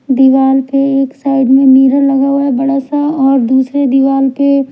दीवार पे एक साइड में मिरर लगा हुआ है बड़ा सा और दूसरे दीवार पे--